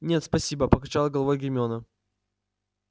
нет спасибо покачала головой гермиона